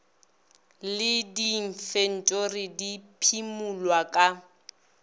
le diinfentori di phimolwa ka